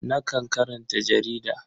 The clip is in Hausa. Nakan karanta jarida.